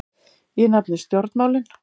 Ég nefni stjórnmálin.